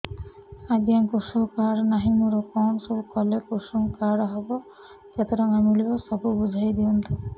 ଆଜ୍ଞା କୃଷକ କାର୍ଡ ନାହିଁ ମୋର କଣ ସବୁ କଲେ କୃଷକ କାର୍ଡ ହବ କେତେ ଟଙ୍କା ମିଳିବ ସବୁ ବୁଝାଇଦିଅନ୍ତୁ